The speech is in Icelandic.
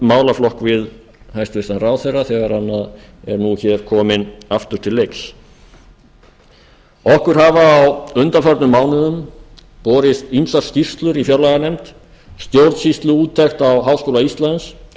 málaflokk við hæstvirtan ráðherra þegar hann er kominn aftur til leiks okkur hafa á undanförnum mánuðum borist ýmsar skýrslur í fjárlaganefnd stjórnsýsluúttekt á háskóla íslands